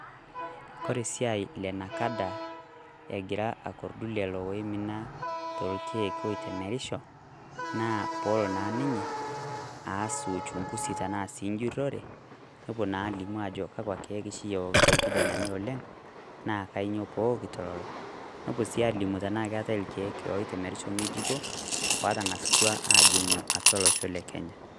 Kore esiai enakada egira akordu lelo oimina tolkie oitemerisho, naa peelo naa ninye aas Uchungusi tenaa sii enchurrore nepuo naa aalimu aajo kakwa kiek oshi eokito irkijanani oleng' naa kanyio pee eokito lelo nepuo sii aalimubyenaa keetae irkiek loitemerisho ng'ejuko oatanga'asutua aajing'u atwa olosho lekenya.